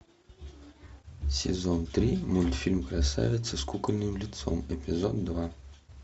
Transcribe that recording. сезон три мультфильм красавица с кукольным лицом эпизод два